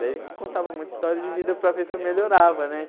Daí ele contava muita história de vida para ver se eu melhorava, né?